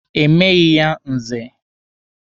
E meghi ya Nze.